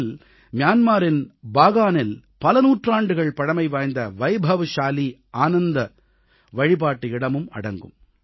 இதில் மியான்மாரின் பாகானில் பல நூற்றாண்டுகள் பழமைவாய்ந்த வைபவ்சாலீ ஆனந்த வழிபாட்டு இடமும் அடங்கும்